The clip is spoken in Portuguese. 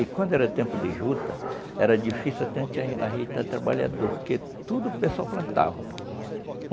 E quando era tempo de juta, era difícil até até a gente ajeitar trabalhador, porque tudo o pessoal plantava.